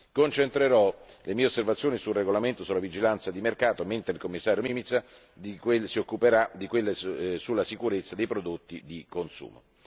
Concentrerò le mie osservazioni sul regolamento sulla vigilanza di mercato, mentre il Commissario Mimica si occuperà di quelle sulla sicurezza dei prodotti di consumo.